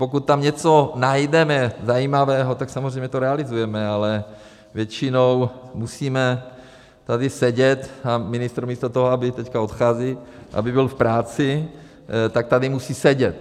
Pokud tam něco najdeme zajímavého, tak samozřejmě to realizujeme, ale většinou musíme tady sedět a ministr místo toho, aby - teď odchází, aby byl v práci, tak tady musí sedět.